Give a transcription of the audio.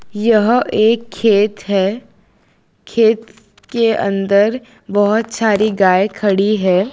यह एक खेत है खेत के अंदर बहुत सारी गाय खड़ी है।